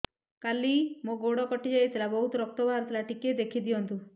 କାଲି ମୋ ଗୋଡ଼ କଟି ଯାଇଥିଲା ବହୁତ ରକ୍ତ ବାହାରି ଥିଲା ଟିକେ ଦେଖି ଦିଅନ୍ତୁ